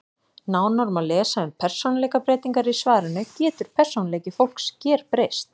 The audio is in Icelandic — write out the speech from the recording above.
Nánar má lesa um persónuleikabreytingar í svarinu Getur persónuleiki fólks gerbreyst?